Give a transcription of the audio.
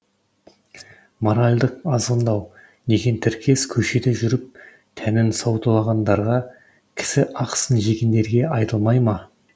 моральдық азғындау деген тіркес көшеде жүріп тәнін саудалағандарға кісі ақысын жегендерге айтылмай ма